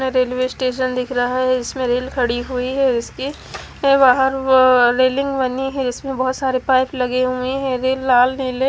यहा railway station दिख रहा है इसमें रेल खड़ी हुई है इसकी वाहन व् रेलिंग बनी है जिसमे बहोत सारे पाइप लगे हुए है ये लाल निले--